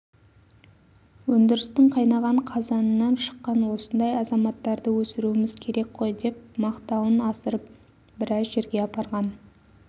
өндірістің қайнаған қазанынан шыққан осындай азаматтарды өсіруіміз керек қой деп мақтауын асырып біраз жерге апарған